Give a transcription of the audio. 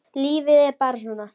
Lífið er bara svona.